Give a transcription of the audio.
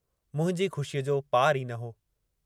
मुंहिंजी खु़शीअ जो पारु ई न हो।